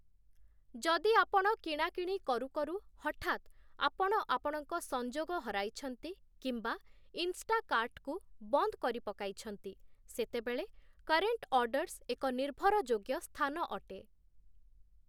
ଯଦି ଆପଣ କିଣାକିଣି କରୁକରୁ ହଠାତ୍ ଆପଣ ଆପଣଙ୍କ ସଂଯୋଗ ହରାଇଛନ୍ତି କିମ୍ବା ଇନଷ୍ଟାକାର୍ଟକୁ ବନ୍ଦ କରିପକାଇଛନ୍ତି, ସେତେବେଳେ 'କରେଣ୍ଟ ଅର୍ଡ଼ର୍ସ' ଏକ ନିର୍ଭରଯୋଗ୍ୟ ସ୍ଥାନ ଅଟେ ।